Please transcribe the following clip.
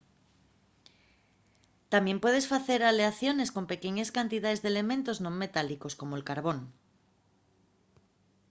tamién puedes facer aleaciones con pequeñes cantidaes d'elementos non metálicos como'l carbón